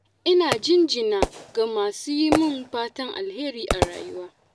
Ina jinjina ga masu yi min fatan alheri a rayuwa